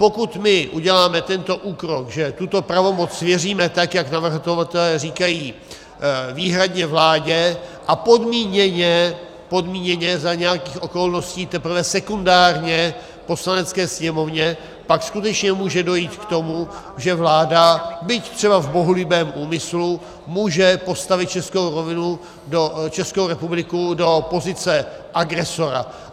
Pokud my uděláme tento úkrok, že tuto pravomoc svěříme, tak jak navrhovatelé říkají, výhradně vládě a podmíněně za nějakých okolností teprve sekundárně Poslanecké sněmovně, pak skutečně může dojít k tomu, že vláda, byť třeba v bohulibém úmyslu, může postavit Českou republiku do pozice agresora.